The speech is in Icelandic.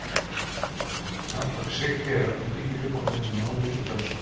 Nafnorðið sigti er að öllum líkindum komið í málið úr dönsku.